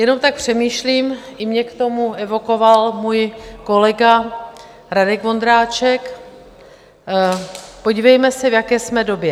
Jenom tak přemýšlím, i mě k tomu evokoval můj kolega Radek Vondráček, podívejme se, v jaké jsme době.